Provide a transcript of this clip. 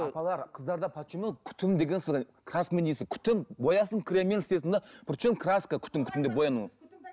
апалар қыздарда почему күтім деген күтім боясын креммен істесін де причем краска күтім күтім деп бояну